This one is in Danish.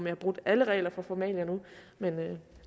har brudt alle regler for formalia men